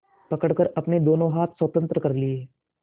पकड़कर अपने दोनों हाथ स्वतंत्र कर लिए